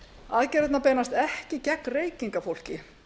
aðgerðirnar beinast ekki gegn reykingafólki